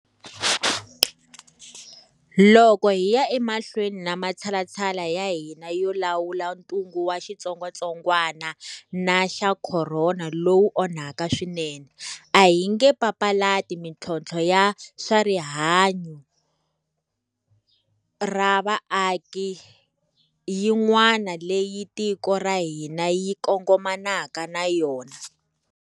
Loko hi ya emahlweni na matshalatshala ya hina yo lawula ntungu wa xitsongwatsongwana xa khorona lowu onhaka swinene, a hi nge papalati mintlhontlho ya swa rihannyu ra vaaki yin'wana leyi tiko ra hina ri kongomanaka na yona.